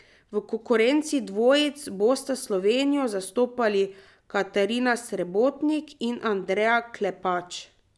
V konkurenci dvojic bosta Slovenijo zastopali Katarina Srebotnik in Andreja Klepač.